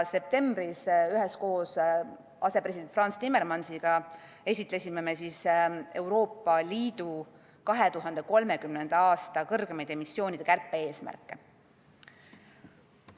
Septembris esitlesime üheskoos asepresident Frans Timmermansiga Euroopa Liidu 2030. aasta kõrgemaid emissioonide kärpe-eesmärke.